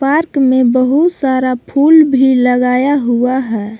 Park में बहुत सारा फूल भी लगाया हुआ है।